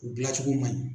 U dilancogo man ɲi